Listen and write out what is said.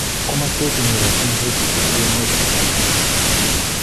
Kamaswek chenyeratin saiti ko eunek ak forearms